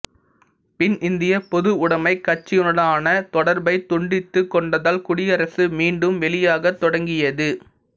பின் இந்திய பொதுவுடமைக் கட்சியுடனான தொடர்பை துண்டித்துக் கொண்டதால் குடியரசு மீண்டும் வெளியாகத் தொடங்கியது